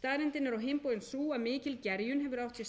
staðreyndin er á bóginn sú að mikil gerjun hefur átt sér stað